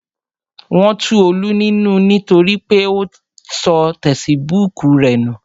Wọn tu Olú nínú nítorí pé ó sọ tesibúùkù rẹ̀ nù